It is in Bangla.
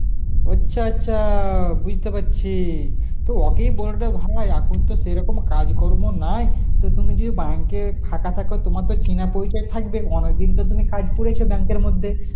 আচ্ছা আচ্ছা, বুঝতে পারছি তো ওকেই বলনা ভাই এখন তো সেরকম কাজকর্ম নাই তো তুমি যদি bank এ খাতা ফাতা তোমার তো চিনা পরিচয় থাকবে, অনেকদিন তো তুমি কাজ করেছো ব্যাংকের মধ্যে